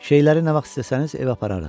Şeyləri nə vaxt istəsəniz evə apararıq.